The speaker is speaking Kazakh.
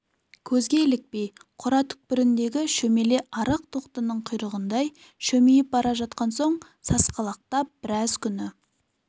көзге ілікпей қора түкпіріндегі шөмеле арық тоқтының құйрығындай шөмиіп бара жатқан соң сасқалақтап біраз күні